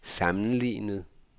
sammenlignet